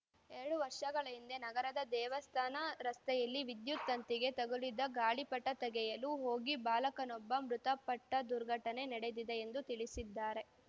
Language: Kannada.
ಎರಡು ವರ್ಷಗಳ ಹಿಂದೆ ನಗರದ ದೇವಸ್ಥಾನ ರಸ್ತೆಯಲ್ಲಿ ವಿದ್ಯುತ್‌ ತಂತಿಗೆ ತಗುಲಿದ ಗಾಳಿಪಟ ತೆಗೆಯಲು ಹೋಗಿ ಬಾಲಕನೊಬ್ಬ ಮೃತಪಟ್ಟದುರ್ಘಟನೆ ನಡೆದಿದೆ ಎಂದೂ ತಿಳಿಸಿದ್ದಾರೆ